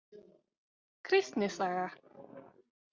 Kristni saga.